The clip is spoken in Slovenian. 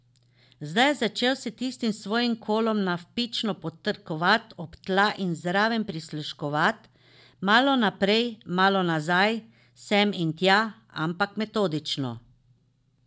Zdaj je začel s tistim svojim kolom navpično potrkavat ob tla in zraven prisluškovat, malo naprej, malo nazaj, sem in tja, ampak metodično.